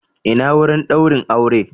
Ina wurin daurin aure?